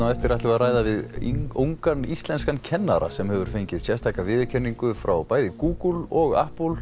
eftir ætlum við að ræða við ungan íslenskan kennara sem hefur fengið sérstaka viðurkenningu frá bæði Google og